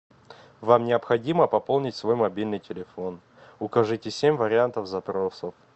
вам необходимо пополнить свой мобильный телефон укажите семь вариантов запросов